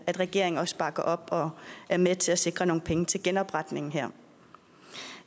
at regeringen også bakker op og er med til at sikre nogle penge til genopretningen her